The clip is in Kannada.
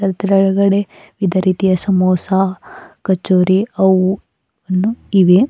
ಅದ್ರೊಳಗಡೆ ವಿಧ ರೀತಿಯ ಸಮೋಸ ಕಚೋರಿ ಅವು ಅನ್ನು ಇವೆ.